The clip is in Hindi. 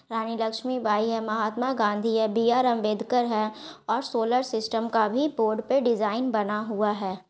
रानी लक्ष्मीबाई है महात्मा गांधी है बी आर अम्बेदकर है और सोलार सिस्टम का भी बोर्ड पे डिजाइन बना हुआ है।